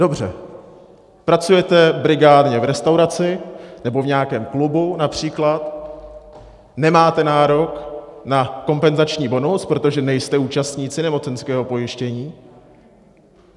Dobře, pracujete brigádně v restauraci nebo v nějakém klubu například, nemáte nárok na kompenzační bonus, protože nejste účastníci nemocenského pojištění.